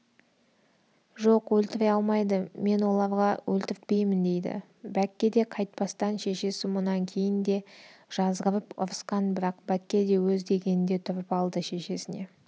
жоқ өлтіре алмайды мен оларға өлтіртпеймін дейді бәкке де қайтпастан шешесі мұнан кейін де жазғырып ұрысқан бірақ бәкке де өз дегенінде тұрып алды шешесіне